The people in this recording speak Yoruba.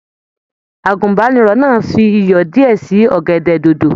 Àgùnbánirọ̀ náà fí iyọ diẹ sí ọ̀gẹ̀dẹ̀ dodo.